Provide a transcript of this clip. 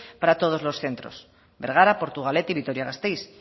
para todos los centros bergara portugalete y vitoria gasteiz